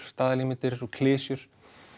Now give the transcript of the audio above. staðalímyndir og klisjur